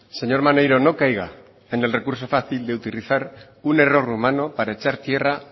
señor maneiro no caiga en el recurso fácil de utilizar un error humano para echar tierra